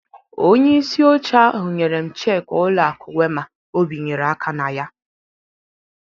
Onye isi oche ahụ nyerem cheki ụlọ akụ Wema o bịnyere aka na ya